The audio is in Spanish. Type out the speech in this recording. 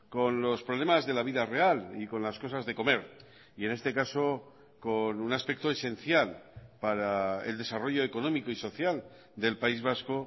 con los problemas de la vida real y con las cosas de comer y en este caso con un aspecto esencial para el desarrollo económico y social del país vasco